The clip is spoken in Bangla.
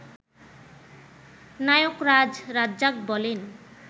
নায়করাজ রাজ্জাক বলেন